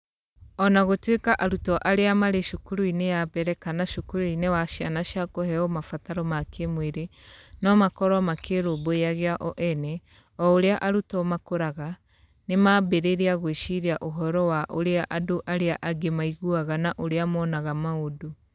O na gũtuĩka arutwo arĩa marĩ cukuru-inĩ ya mbere kana cukuru-inĩ wa ciana cia kũheo mabataro ma kĩĩmwĩrĩ no makorũo makĩĩrũmbũyagia o ene, o ũrĩa arutwo makũraga, nĩ mambĩrĩria gwĩciria ũhoro wa ũrĩa andũ arĩa angĩ maiguaga na ũrĩa monaga maũndũ.